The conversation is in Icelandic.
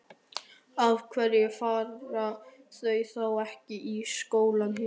Af hverju fara þau þá ekki í skóla hér?